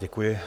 Děkuji.